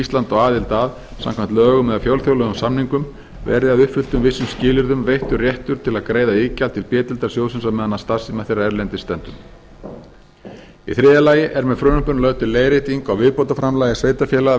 ísland á aðild að samkvæmt lögum eða fjölþjóðlegum samningum verði að uppfylltum vissum skilyrðum veittur réttur til að greiða iðgjald til b deildar sjóðsins á meðan starfstími þeirra erlendis stendur í þriðja lagi er með frumvarpinu lögð til leiðrétting á viðbótarframlagi sveitarfélaga